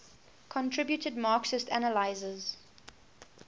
contributed marxist analyses